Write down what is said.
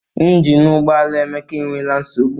Ịnginu ụgbọala Emeka e nwere nsogbu